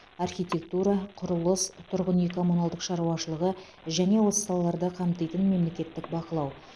архитектура құрылыс тұрғын үй коммуналдық шаруашылығы және осы салаларды қамтитын мемлекеттік бақылау